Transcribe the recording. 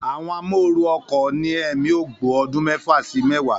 Àwọn amóooru ọkọ̀ ní ẹ̀mí ogbó ọdún mẹ́fà sí mẹ́wàá